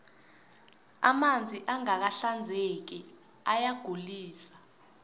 amanzi angaka hinzeki ayagulise